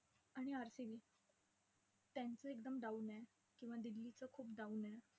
आणि RCB त्यांचं एकदम down आहे किंवा दिल्लीचं खूप down आहे.